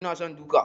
Ina son duka.